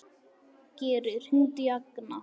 Geri, hringdu í Agna.